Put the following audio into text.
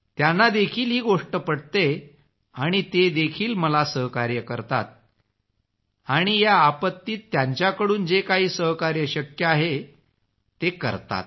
त्यांना देखील गोष्ट पटते आणि ते देखील मला सहकार्य करतात आणि या आपत्तीत त्यांच्याकडून जे काही सहकार्य शक्य आहे ते करतात